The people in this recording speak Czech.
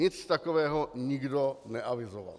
Nic takového nikdo neavizoval.